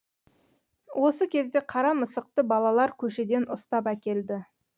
осы кезде қара мысықты балалар көшеден ұстап әкелді